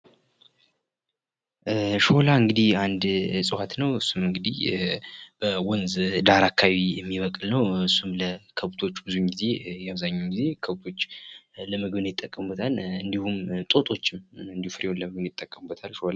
ሾላ አንድ እፅዋት ነዉ። እሱም እንግዲህ በወንዝ ዳር አካባቢ የሚበቅል ነዉ። እሱም ለከብቶች አብዛኛዉን ጊዜ ከብቶች ለምግብነት ይጠቀሙበታል። እንዲሁም ጦጣዎችም ፍሬዉን ለምግብነት ይጠቀሙታል።